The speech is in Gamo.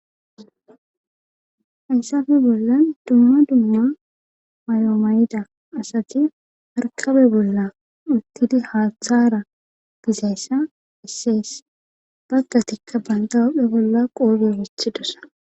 Haysafe bolla dumma dumma mayomayida asati harkabe bolla uttidi haaththara dizayssa isseys baggatikka banda wuphphe bolla qoogio wethidosa.